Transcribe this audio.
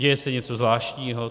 Děje se něco zvláštního?